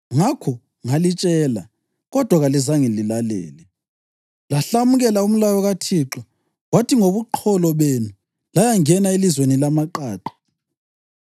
Ngakho ngalitshela, kodwa kalizange lilalele. Lahlamukela umlayo kaThixo kwathi ngobuqholo benu layangena elizweni lamaqaqa.